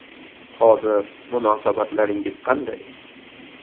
Hozir munosabatlaringiz qanday?